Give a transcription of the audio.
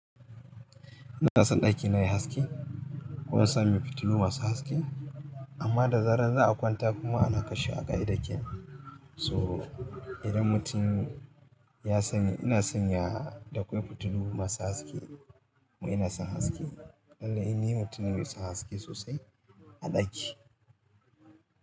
Ina son ɗakina yayi haske. Kun san fitilu masu haske amma da zarar za a kwanta kuma ana kashewa ka'idar kenan. Ina son fitilu masu haske amma da zarar za a kwanta kuma ana kashewa ka'idar kenan. Mu ina son haske. Lallai ni ni mutumne mai son haske sosai a ɗaki.